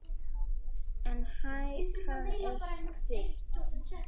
En hækan er stutt.